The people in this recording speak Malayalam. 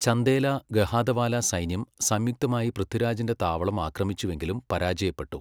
ചന്ദേല ഗഹാദവാല സൈന്യം സംയുക്തമായി പൃഥ്വിരാജിന്റെ താവളം ആക്രമിച്ചുവെങ്കിലും പരാജയപ്പെട്ടു.